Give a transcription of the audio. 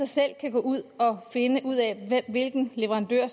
selv kan gå ud og finde ud af hvilken leverandør